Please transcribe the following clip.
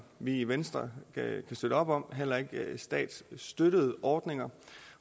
vi i venstre kan støtte op om heller ikke statsstøttede ordninger